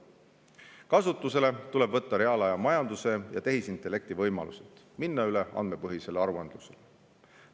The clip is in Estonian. Kasutusele tuleb võtta reaalajamajanduse ja tehisintellekti võimalused, minna üle andmepõhisele aruandlusele.